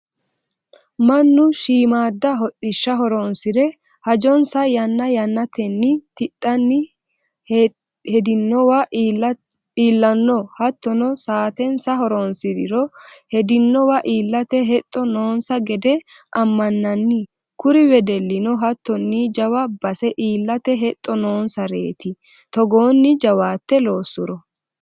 Mannu shiimada hodhishsha horonsire hajonsa yanna yannatenni tidhanni hedinowa iillano hattono saatensa horonsiriro hedinowa iillate hexxo noonsa gede amananni kuri wedellino hattonni jawa base iillate hexxo noonsareti togooni jawaate loosuro.